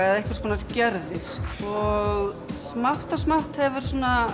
eða einhvers konar gjörðir og smátt og smátt hefur